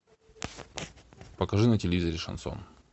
покажи на телевизоре шансон